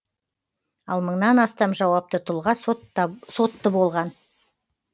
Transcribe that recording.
ал мыңнан астам жауапты тұлға сотты болған